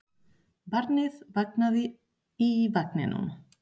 Barnið vaknaði í vagninum.